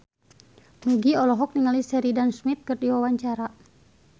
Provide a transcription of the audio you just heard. Nugie olohok ningali Sheridan Smith keur diwawancara